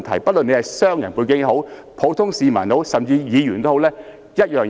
不論是商人或普通市民，甚至是議員，待遇都是一樣。